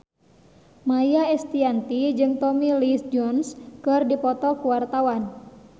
Maia Estianty jeung Tommy Lee Jones keur dipoto ku wartawan